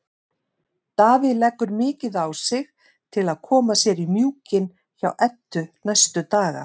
Davíð leggur mikið á sig til að koma sér í mjúkinn hjá Eddu næstu daga.